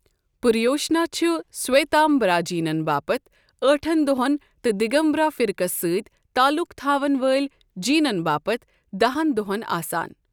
پریوشنا چھُ سویتامبرا جینَن باپتھ ٲٹھن دۄہَن تہٕ دِگمبرا فرقَس سۭتۍ تعلُق تھاوَن وٲلۍ جینَن باپتھ دہن دۄہَن آسان۔